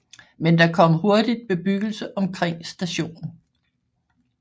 Men der kom hurtigt bebyggelse omkring stationen